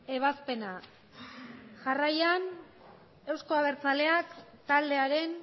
ebazpena jarraian euzko abertzaleak taldearen